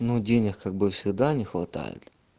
ну денег как бы всегда не хватает